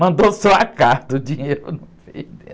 Mandou só a carta, o dinheiro não veio dentro.